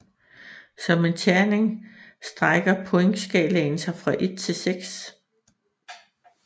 Som en terning strækker pointskalaen sig fra 1 til 6